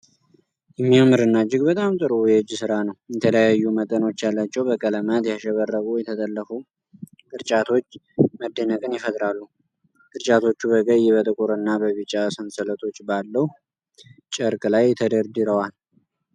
የሚያምርና እጅግ በጣም ጥሩ የእጅ ሥራ ነው። የተለያዩ መጠኖች ያላቸው በቀለማት ያሸበረቁ የተጠለፉ ቅርጫቶች መደነቅን ይፈጥራሉ። ቅርጫቶቹ በቀይ፣ በጥቁር እና በቢጫ ሰንሰለቶች ባለው ጨርቅ ላይ ተደርድረዋል።